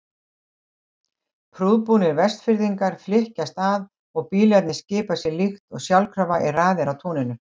Prúðbúnir Vestfirðingar flykkjast að og bílarnir skipa sér líkt og sjálfkrafa í raðir á túninu.